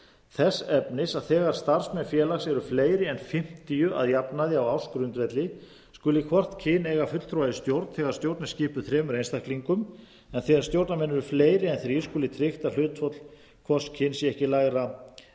þess efnis að þegar starfsmenn félags eru fleiri en fimmtíu að jafnaði á ársgrundvelli skuli hvort kyn eiga fulltrúa í stjórn þegar stjórn er skipuð þremur einstaklingum en þegar stjórnarmenn eru fleiri en þrír skuli tryggt að hlutföll hvors kyns séu ekki lægri en